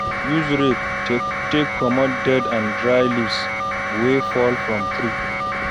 Use rake take comot dead and dry leaves wey fall from tree